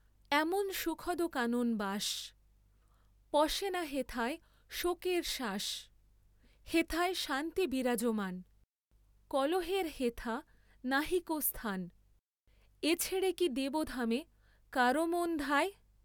এমন সুখদ কানন বাস, পশে না হেথায় শোকের শ্বাস, হেথায় শান্তি বিরাজমান, কলহের হেথা নাহিক স্থান, এ ছেড়ে কি দেবধামে কারো মন ধায়।